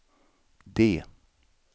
D